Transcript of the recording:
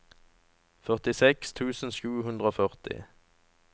førtiseks tusen sju hundre og førti